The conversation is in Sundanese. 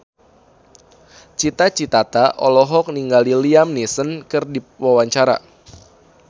Cita Citata olohok ningali Liam Neeson keur diwawancara